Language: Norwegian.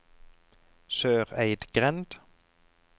Søreidgrend